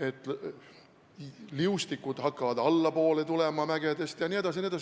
et liustikud hakkavad mägedest allapoole tulema, jne.